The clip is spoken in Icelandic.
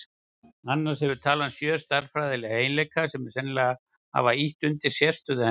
Annars hefur talan sjö stærðfræðilega eiginleika sem sennilega hafa ýtt undir sérstöðu hennar.